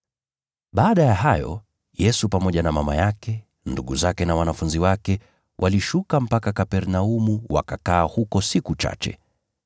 Baada ya hayo, Yesu pamoja na mama yake, ndugu zake na wanafunzi wake, walishuka mpaka Kapernaumu, wakakaa huko siku chache.